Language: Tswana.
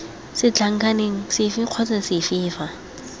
setlankaneng sefe kgotsa sefe fa